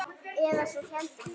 Eða svo héldum við.